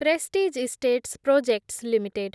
prestige Estates Projects limited